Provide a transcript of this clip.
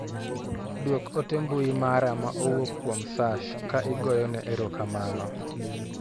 Duok ote mbui mara ma owuok kuom Sashs ka igoyo ne ero kamano.